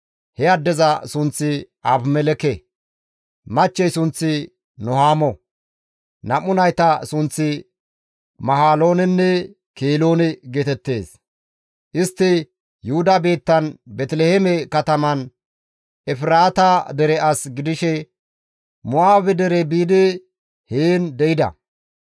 He addeza sunththi Abimelekke; machchey sunththi Nuhaamo; nam7u nayta sunththi Mahaloonenne Keloone geetettees. Istti Yuhuda biittan Beeteliheeme kataman Efraata dere as gidishe Mo7aabe dere biidi heen de7ida.